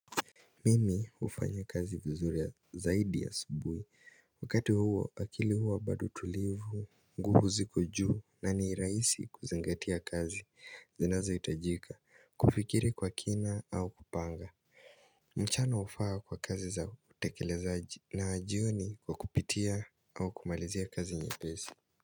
Mimi hufanya kazi vizuri zaidi a subuhi wakati huo akili huwa bado tulivu nguvu ziko juu na ni rahisi kuzingatia kazi zinazo hitajika kufikiri kwa kina au kupanga mchana hufaa kwa kazi za utakelezaji na jioni kwa kupitia au kumalizia kazi nye pesi.